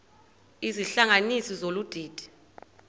izihlanganisi zolu didi